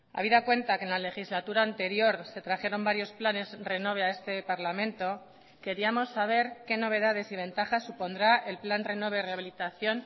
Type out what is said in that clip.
habida cuenta que en la legislatura anterior se trajeron varios planes renove a este parlamento queríamos saber qué novedades y ventajas supondrá el plan renove rehabilitación